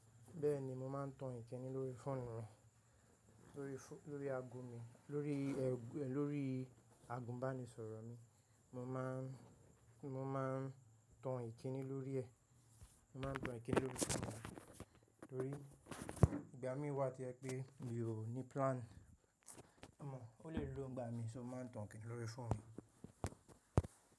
Bẹ́ẹ̀ni mo máa ń tan Ìkíni lórí fóònù mi, lórí aago mi, lórí, lórí àgùnbánisọ̀rọ̀ mi. Mo máa ń, mo máa ń tan Ìkíni lórí ẹ̀, mo máa ń tan Ìkíni lórí fóònù mi torí ìgbà mí wá to jẹ̀ pé mi ò ní plan. Ó lè low ńgbà mí, ṣo, máa ń tan Ìkíni lórí fóònù mi?